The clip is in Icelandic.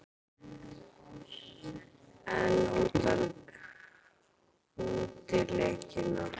En útileikina?